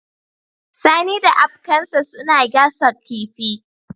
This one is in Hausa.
Sani da abkansa suna gasa kifi